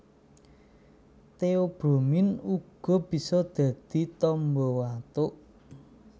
Theobromine uga bisa dadi tamba watuk